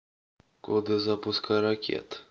коды запуска ракет